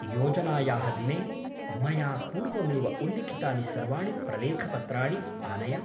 योजनायाः दिने मया पूर्वमेव उल्लिखितानि सर्वाणि प्रलेखपत्राणि आनय।